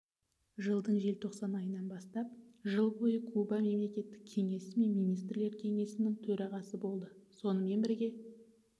жылдың желтоқсан айынан бастап жыл бойы куба мемлекеттік кеңесі мен министрлер кеңесінің төрағасы болды сонымен бірге